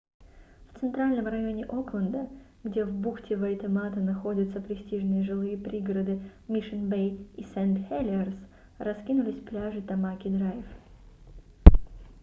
в центральном районе окленда где в бухте вайтемата находятся престижные жилые пригороды мишн-бэй и сент-хелиерс раскинулись пляжи тамаки-драйв